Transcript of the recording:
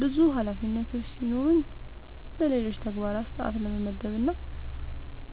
ብዙ ኃላፊነቶች ሲኖሩኝ ለሌሎች ተግባራት ሰአት ለመመደብ እና